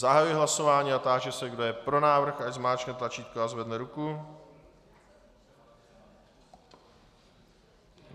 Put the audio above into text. Zahajuji hlasování a táži se, kdo je pro návrh, ať zmáčkne tlačítko a zvedne ruku.